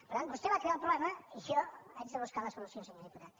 per tant vostè va crear el problema i jo haig de buscar la solució senyor diputat